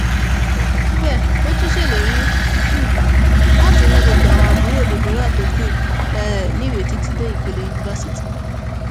kò tán síbẹ ó tún ṣèlérí um láti ran gbogbo àwọn àbúrò deborah tó kù um níwèé títí dé ìpele yunifásitì